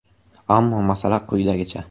Ammo masala quyidagicha.